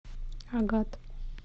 агат